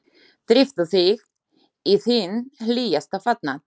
Drífðu þig í þinn hlýjasta fatnað.